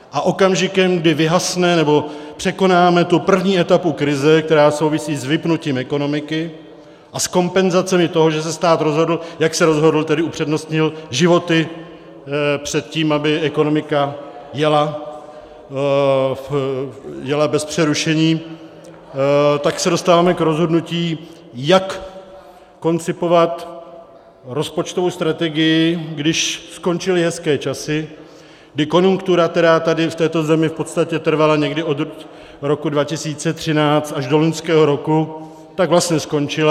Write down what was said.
A okamžikem kdy vyhasne, nebo překonáme tu první etapu krize, která souvisí s vypnutím ekonomiky a s kompenzacemi toho, že se stát rozhodl, jak se rozhodl, tedy upřednostnil životy před tím, aby ekonomika jela bez přerušení, tak se dostáváme k rozhodnutí, jak koncipovat rozpočtovou strategii, když skončily hezké časy, kdy konjunktura, která tady v této zemi v podstatě trvala někdy od roku 2013 až do loňského roku, tak vlastně skončila.